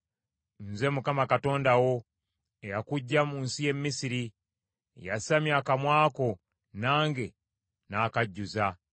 Nze Mukama Katonda wo, eyakuggya mu nsi y’e Misiri. Yasamya akamwa ko, nange nnaakajjuza.